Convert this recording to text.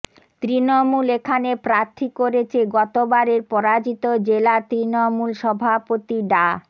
তৃণমূল এখানে প্রার্থী করেছে গতবারের পরাজিত জেলা তৃণমূল সভাপতি ডা